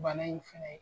Bana in fɛnɛ